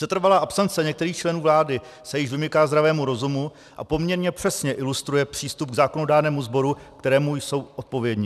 Setrvalá absence některých členů vlády se již vymyká zdravému rozumu a poměrně přesně ilustruje přístup k zákonodárnému sboru, kterému jsou odpovědni.